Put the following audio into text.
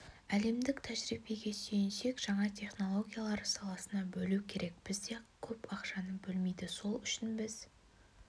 әлемдік тәжірибеге сүйенсек жаңа технологиялар саласына бөлу керек бізде көп ақшаны бөлмейді сол үшін біз